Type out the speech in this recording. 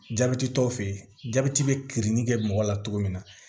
Jabɛti tɔw fɛ yen jabɛti bɛ kirinni kɛ mɔgɔ la cogo min na